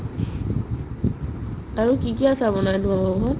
আৰু কি কি আচাৰ বনাই নো আৰু নো ?